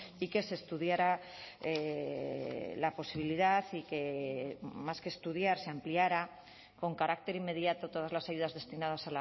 y que se estudiara la posibilidad y que más que estudiar se ampliara con carácter inmediato todas las ayudas destinadas